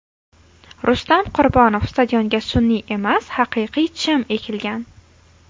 Rustam Qurbonov: Stadionga sun’iy emas, haqiqiy chim ekilgan.